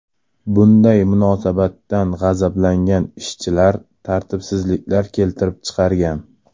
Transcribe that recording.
Bunday munosabatdan g‘azablangan ishchilar tartibsizliklar keltirib chiqargan.